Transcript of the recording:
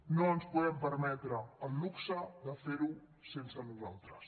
no ens podem permetre el luxe de fer ho sense nosaltres